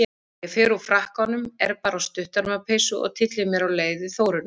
Ég fer úr frakkanum, er bara á stutterma peysu og tylli mér á leiði Þórunnar